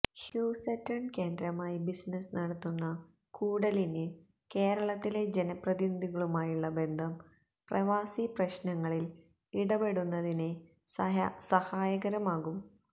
Houston കേന്ദ്രമായി business നടത്തുന്ന കൂടലിന് കേരളത്തിലെ ജനപ്രതിനിധികളുമായുള്ള ബന്ധം പ്രവാസി പ്രശ്നങ്ങളിൽ ഇടപെടുന്നതിന് സഹായകരമാകും